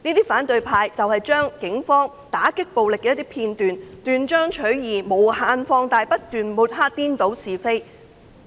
反對派對警方打擊暴力的一些片段斷章取義並將之無限放大，他們不斷抹黑、顛倒是非。